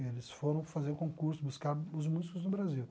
Eles foram fazer o concurso, buscar os músicos do Brasil.